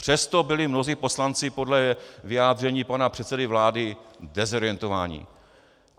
Přesto byli mnozí poslanci podle vyjádření pana předsedy vlády dezorientováni.